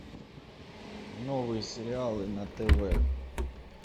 новые сериалы на тв